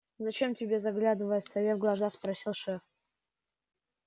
зачем тебе заглядывая сове в глаза спросил шеф